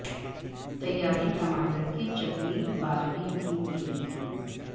تیاری ٹماٹر کی چٹنی باربیکیو کے لئے